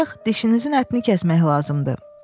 Ancaq dişinizin ətini kəsmək lazımdır.